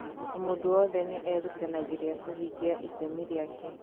O mũndũ wothe nĩ eerutanagĩria kũhingia itemi rĩake.